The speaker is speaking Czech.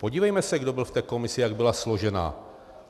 Podívejme se, kdo byl v té komisi, jak byla složena.